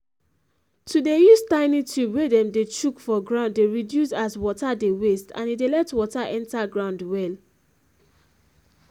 to dey use tiny tube wey dem dey chook for ground dey reduce as water dey waste and e dey let water enter ground well